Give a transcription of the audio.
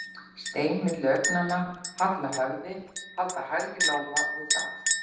Stein á milli augnanna, halla höfði, halda hægri lófa við það.